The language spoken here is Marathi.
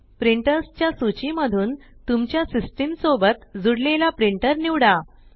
प्रिंटर्स च्या सूची मधून तुमच्या सिस्टम सोबत जूडलेला प्रिंटर निवडा